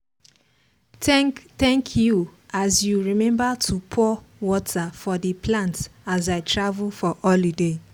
thank thank you as you remember to pour water for the plant as i travel for holiday.